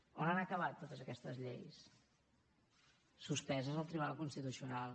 on han acabat totes aquestes lleis suspeses al tribunal constitucional